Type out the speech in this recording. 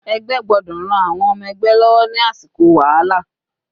Ẹgbẹ́ gbọ́dọ̀ ran àwọn ọmọ ẹgbẹ́ lọ́wọ́ ní àsìkò wàhálà.